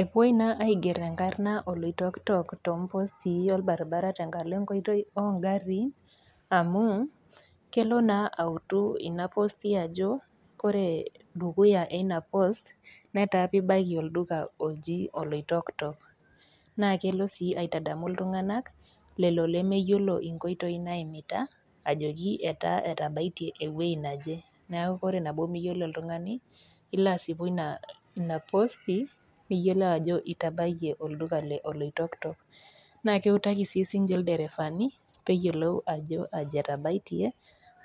Epuoi naa aiger enkarna oloitokitok too impostii olbaribara tenkala enkoitoi oo ngariin amu, kelo autu naa ina posti ajo, kore dukuya ina post netaa pee ibaiki olduka oji oloitokitok, naa kelo sii atadamu iltung'anak, lelo lemeyiolo inkoitoi naimita ajoki, etaa etabaitie ewueji naje, neaku ore nabo miyiolo oltung'ani nilo asipu ina posti, niyiolou ajo itabaiye olduka le oloitokitok, naa keutaki sii sininche ilderefani peyiolou ajo aji etabaitie,